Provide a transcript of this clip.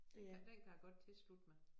Den kan den kan jeg godt tilslutte mig